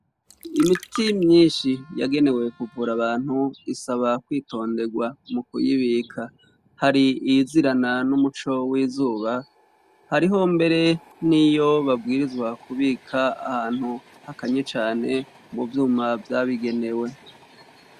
Imiti myinshi yagenewe kuvura abantu isaba kwitonderwa mukuyibika. Hari iyizirana n'umuco w'izuba hariho mbere n'iyo babwirizwa kubika ahantu hakanye cane muvyuma vyabigenewe.